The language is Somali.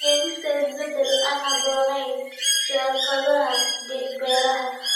Keenista isbeddel aan habboonayn siyaasadaha beeraha.